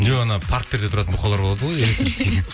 жоқ анау парктерде отыратын бұқалар болады ғой